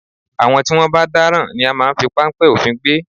Àwọn tí wọ́n bá dáràn ni a máa ń fi páńpẹ́ òfin gbé